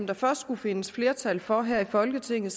der først skulle findes flertal for her i folketinget